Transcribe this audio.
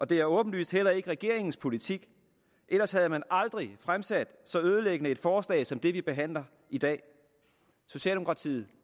det er åbenlyst heller ikke regeringens politik ellers havde man aldrig fremsat så ødelæggende et forslag som det vi behandler i dag socialdemokratiet